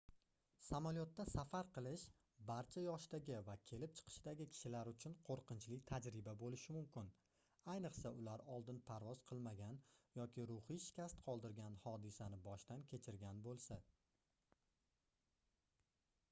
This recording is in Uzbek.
samolyotda safar qilish barcha yoshdagi va kelib chiqishdagi kishilar uchun qoʻrqinchli tajriba boʻlishi mumkin ayniqsa ular oldin parvoz qilmagan yoki ruhiy shikast qoldirgan hodisani boshdan kechirgan boʻlsa